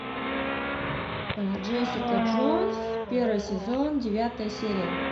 джессика джонс первый сезон девятая серия